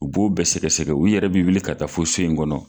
U b'o bɛɛ sɛgɛsɛgɛ u yɛrɛ b'i wuli ka taa fo so in kɔnɔ.